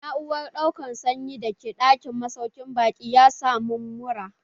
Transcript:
Na'uran ɗaukan sanyi da ke ɗakin masaukin baƙi ya sa mun mura.